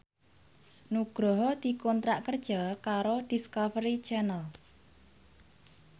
Nugroho dikontrak kerja karo Discovery Channel